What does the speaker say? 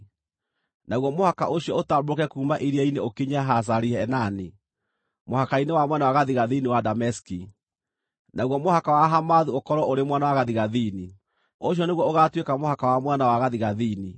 Naguo mũhaka ũcio ũtambũrũke kuuma iria-inĩ ũkinye Hazari-Enani, mũhaka-inĩ wa mwena wa gathigathini wa Dameski, naguo mũhaka wa Hamathu ũkorwo ũrĩ mwena wa gathigathini. Ũcio nĩguo ũgaatuĩka mũhaka wa mwena wa gathigathini.